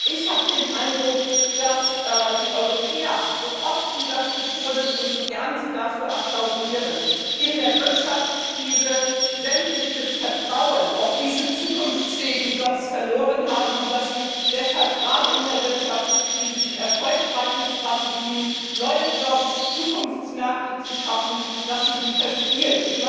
Ich habe den Eindruck, dass die Europäer so oft sie das betonen und so gern sie dem applaudieren in der Wirtschaftskrise sämtliches Vertrauen in diese zukunftsfähigen Jobs verloren haben und dass sie deshalb gerade in der Wirtschaftskrise die erfolgreichen Strategien, neue Jobs und Zukunftsmärkte zu schaffen, verspielen.